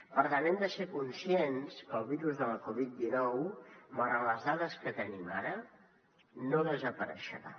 per tant hem de ser conscients que el virus de la covid dinou malgrat les dades que tenim ara no desapareixerà